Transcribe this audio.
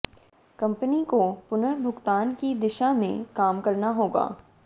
company को पुनर्भुगतान की दिशा में काम करना होगा